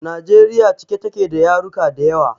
Najeriya cike take da yaruka dayawa